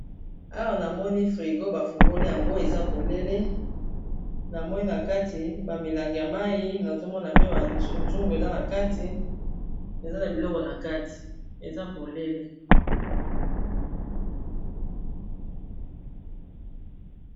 Awa namoni frigo ,bafungoli yango eza polele na moi na kati bamilanga ya mai nazomona pe bazungu eza na kati eza na biloko nakati eza polele